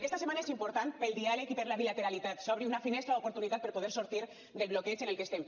aquesta setmana és important pel diàleg i per la bilateralitat que s’obri una finestra d’oportunitat per poder sortir del bloqueig en el que estem